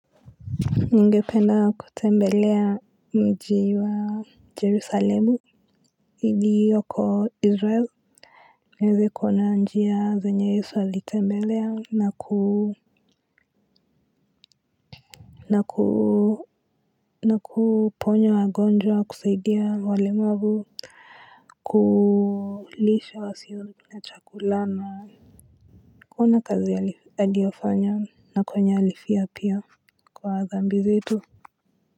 Ningependa kutembelea mji wa jerusalemu iliyoko israel. Naeze kuona njia zenye yesu alitembelea na ku na kuponyo wagonjwa kusaidia walemavu. Kulisha wasio na chakula na kuona kazi aliyofanya na kwenye alifia pia kwa dhambi zetu.